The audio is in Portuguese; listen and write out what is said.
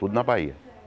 Tudo na Bahia.